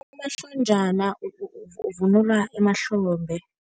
Unomahlonjana uvunulwa emahlombe.